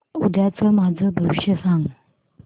उद्याचं माझं भविष्य सांग